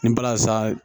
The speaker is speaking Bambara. Ni balazan